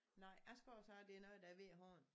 Nej jeg skal også have det er noget der er ved æ hånd